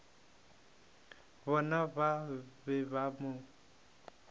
bona ba be ba mo